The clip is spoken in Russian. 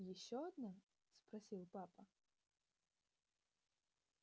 ещё одна спросил папа